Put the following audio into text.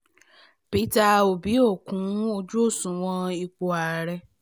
peter obi ò kún ojú òṣùwọ̀n ipò ààrẹ